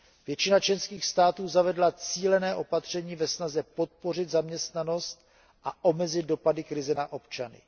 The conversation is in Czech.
Většina členských států zavedla cílené opatření ve snaze podpořit zaměstnanost a omezit dopady krize na občany.